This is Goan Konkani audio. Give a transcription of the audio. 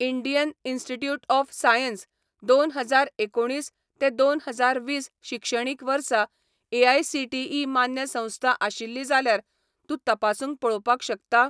इंडियन इन्स्टिट्यूट ऑफ सायन्स दोन हजार एकुणीस ते दोन हजार वीस शिक्षणीक वर्सा एआयसीटीई मान्य संस्था आशिल्ली जाल्यार तूं तपासून पळोवपाक शकता?